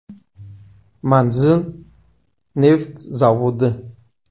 Manzil: Neft zavodi.